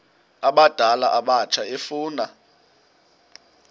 abadala abatsha efuna